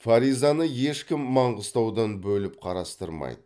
фаризаны ешкім маңғыстаудан бөліп қарастырмайды